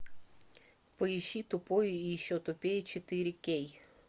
поищи тупой и еще тупее четыре кей